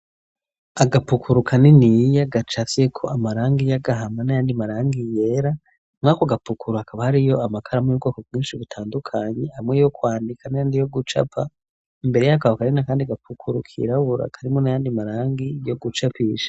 Agapukuru kaniniya gacafyeko amarangi y'agahama n'ayandi marangi yera, muri ako gapukuru hakaba hariyo amakaramu y'ubwoko bwinshi butandukanye, amwe yo kwandika n'ayandi yo gucapa, imbere y'ako hakaba hari n'akandi gapukuru kirabura karimwo n'ayandi marangi yo gucapisha.